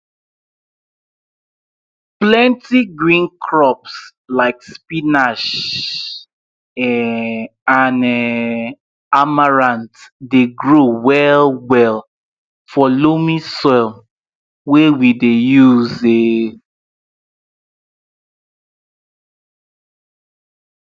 plenti green crops like spinach um and um amaranth dey grow well well for loamy soil wey we dey use um